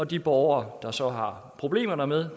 de borgere der så har problemer med